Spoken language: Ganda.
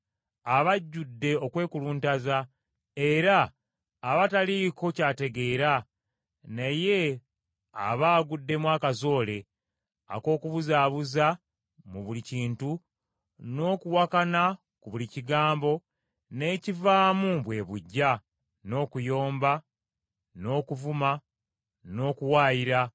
aba ajjudde okwekuluntaza era aba taliiko ky’ategeera naye aba aguddemu akazoole ak’okubuzaabuza mu buli kintu, n’okuwakana ku buli kigambo n’ekivaamu bwe buggya, n’okuyomba, n’okuvuma, n’okuwaayira,